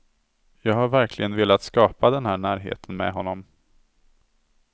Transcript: Jag har verkligen velat skapa den där närheten med honom.